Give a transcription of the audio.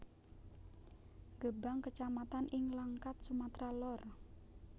Gebang kecamatan ing Langkat Sumatera Lor